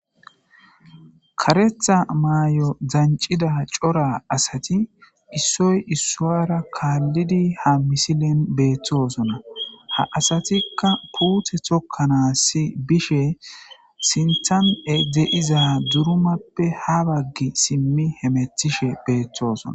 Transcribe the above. Karetha maay7o dancida cora asati issoy issuara kaallidi ha misilen beetthosonna ha asatikka puuthe tokkanaasi bishe sinthan edzeiza durumappe ha baggi simmi hemetishe beeththosona